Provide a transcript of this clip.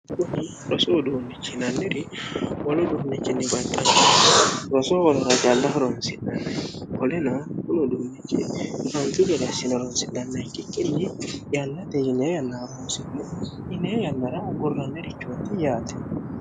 kuni rosuuduunnichi inanniri wolo duunnichinni baqqannano roso horora jalla ho ronsinhanni koleno woloduunnichi frantu jareassilo ronsidhanna ikkikkinni yanna tejiniya yannara roonsi'ne ninee yannara agurrannerichootti yaate